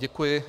Děkuji.